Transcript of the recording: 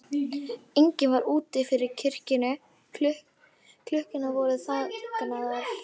Enginn var úti fyrir kirkjunni, klukkurnar voru þagnaðar.